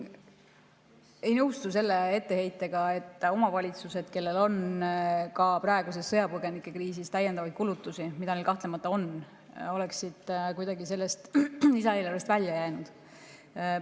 Ei nõustu selle etteheitega, nagu omavalitsused, kellel ka praeguses sõjapõgenikekriisis kahtlemata on täiendavaid kulutusi, oleksid kuidagi sellest lisaeelarvest välja jäänud.